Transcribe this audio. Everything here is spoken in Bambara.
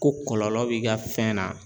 Ko kɔlɔlɔ b'i ka fɛn na